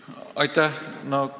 Aitäh!